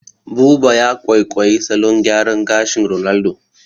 Buba ya kwaikwayi salon gyaran gashin Ronaldo